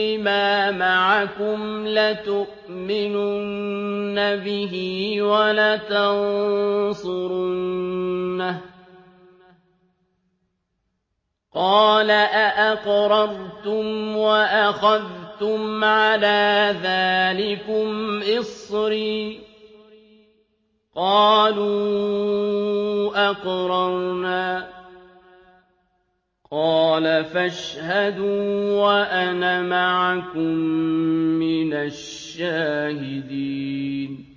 لِّمَا مَعَكُمْ لَتُؤْمِنُنَّ بِهِ وَلَتَنصُرُنَّهُ ۚ قَالَ أَأَقْرَرْتُمْ وَأَخَذْتُمْ عَلَىٰ ذَٰلِكُمْ إِصْرِي ۖ قَالُوا أَقْرَرْنَا ۚ قَالَ فَاشْهَدُوا وَأَنَا مَعَكُم مِّنَ الشَّاهِدِينَ